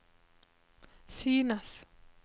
synes